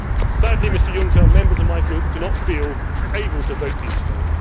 future. Sadly, Mr Juncker, members of my group do not feel able to vote for you